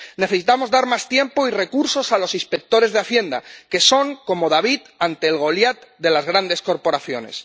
Necesitamos dar más tiempo y recursos a los inspectores de Hacienda, que son como David ante el Goliat de las grandes corporaciones.